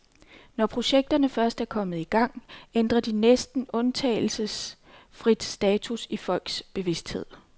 Når projekterne først er kommet i gang, ændrer de næsten undtagelsesfrit status i folks bevidsthed.